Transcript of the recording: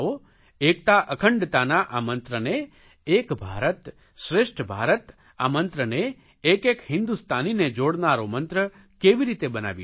એકતા અખંડતાના આ મંત્રને એક ભારત શ્રેષ્ઠ ભારત આ મંત્રને એક એક હિન્દુસ્તાનીને જોડનારો મંત્ર કેવી રીતે બનાવી શકીએ